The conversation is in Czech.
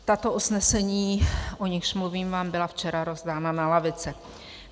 Tato usnesení, o nichž mluvím, vám byla včera rozdána na lavice.